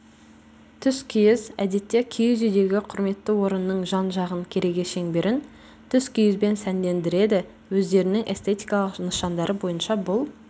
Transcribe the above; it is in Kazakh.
түскиіз әдетте киіз үйдегі құрметті орынның жан-жағын кереге шеңберін түскиізбен сәндендіреді өздерінің эстетикалық нышандары бойынша бұл